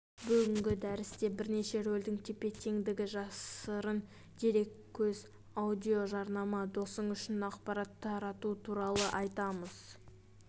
бүгінгі дәрісте бірнеше рөлдің тепе-теңдігі жасырын дереккөз аудиожарнама досың үшін ақпарат тарату туралы айтамыз